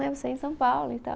Em São Paulo e tal.